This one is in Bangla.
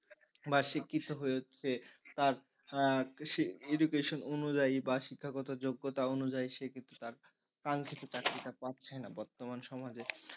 বা শিক্ষিত হয়েছে তার education অনুযায়ী বা শিক্ষাগত যোগ্যতা অনুযায়ী সে কিন্তু তার কাঙ্খিত চাকরি টা পাচ্ছে না বর্তমান সমাজে,